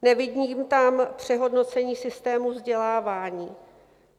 Nevidím tam přehodnocení systému vzdělávání.